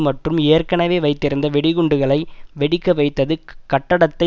மற்றும் ஏற்கனவே வைத்திருந்த வெடிகுண்டுகளை வெடிக்க வைத்தது கட்டடத்தை